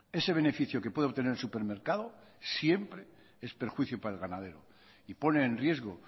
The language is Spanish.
ese beneficio que puede obtener el supermercado siempre es perjuicio para el ganadero y pone en riesgo